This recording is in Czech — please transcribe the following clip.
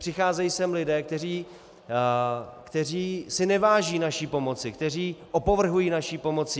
Přicházejí sem lidé, kteří si neváží naší pomoci, kteří opovrhují naší pomocí.